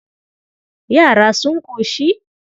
Yara sun ƙoshi?